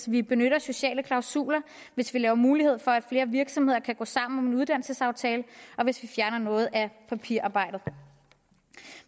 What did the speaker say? vi benytter sociale klausuler hvis vi giver mulighed for at flere virksomheder kan gå sammen uddannelsesaftale og hvis vi fjerner noget af papirarbejdet